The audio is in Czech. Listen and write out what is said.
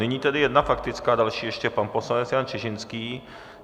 Nyní tedy jedna faktická, další ještě pan poslanec Jan Čižinský.